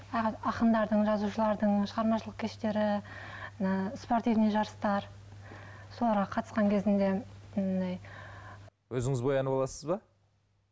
ақындардың жазушылардың шығармашылық кештері мына спортивный жарыстар соларға қатысқан кезімде андай өзіңіз боянып аласыз ба